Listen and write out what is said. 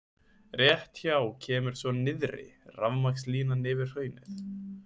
Rétt hjá kemur svo nyrðri rafmagnslínan yfir hraunið.